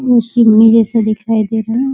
मौसम्मी जैसा दिखाई दे रहा है।